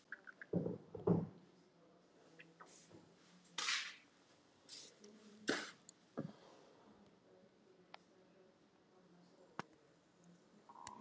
pass Ekki erfiðasti andstæðingur?